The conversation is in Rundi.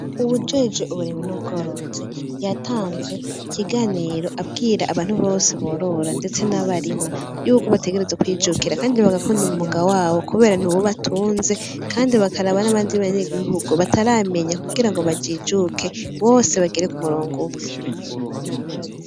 Uwujejwe uburimyi n'ubworozi, yatanze ikiganiro abwira abantu bose borora ndetse n'abarima. yuko bategerezwa kwijukira kandi bagakunda umwuga wabo kubera niw'ubatunze kandi bakaraba n'abandi banyagihugu bataramenya kugira ngo bajijuke bose bagere ku murongo umwe.